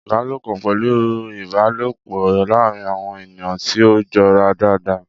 Ìbálòpọ̀ pẹ̀lú ìbálòpọ̀ láàárín àwọn ènìyàn tí ó jọra dáadáa.